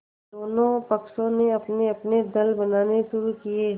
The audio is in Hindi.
दोनों पक्षों ने अपनेअपने दल बनाने शुरू किये